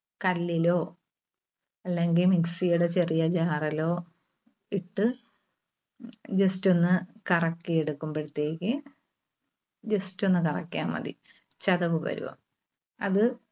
കല്ലിലോ അല്ലെങ്കിൽ mixie യുടെ ചെറിയ jar ലോ ഇട്ട് just ഒന്ന് കറക്കി എടുക്കുമ്പഴത്തേക്ക് just ഒന്ന് കറക്കിയാൽ മതി ചതവ് വരും. അത്